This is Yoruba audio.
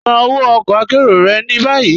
Ṣàn ọwọ ọ̀kọ àkéró rẹ̀ ni bayi.